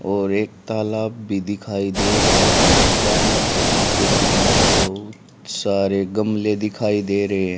और एक तालाब भी दिखाई दे रहा है तालाब के किनारे बहुत सारे गमले दिखाई दे रहे--